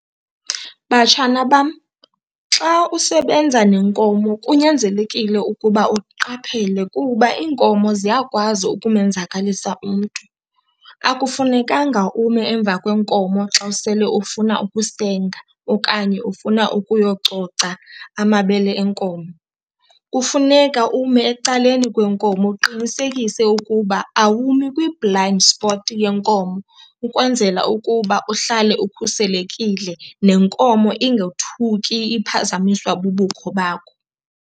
Batshana bam, xa usebenza nenkomo kunyanzelekile ukuba uqaphele kuba iinkomo ziyakwazi ukumenzakalisa umntu. Akufunekanga ume emva kwenkomo xa usele ufuna ukusenga okanye ufuna ukuyococa amabele enkomo, kufuneka ume ecaleni kwenkomo uqinisekise ukuba awumi kwi-blind spot yenkomo ukwenzela ukuba uhlale ukhuselekile nenkomo ingothuki iphazamiswa bubukho bakho.